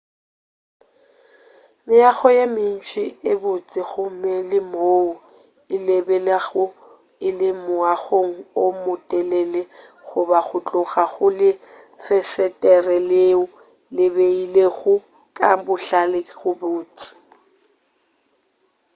meago ye mentši e botse gomme le moo o lebelelago o le moagong o motelele goba go tloga go lefesetere leo le beilwego ka bohlale go botse